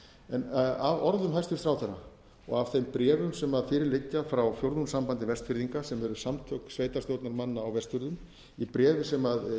efnum af orðum hæstvirts ráðherra og af þeim bréfum sem fyrir liggja frá fjórðungssambandi vestfirðinga sem eru samtök sveitarstjórnarmanna á vestfjörðum í bréfi sem